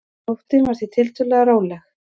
Nóttin var því tiltölulega róleg